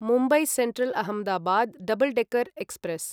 Mumbai central Ahmedabad double decker express